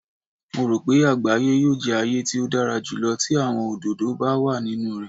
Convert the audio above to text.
Mo ro pe agbaye yoo jẹ aaye ti o dara julọ ti awọn ododo ba wa ninu rẹ.